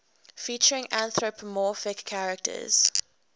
featuring anthropomorphic characters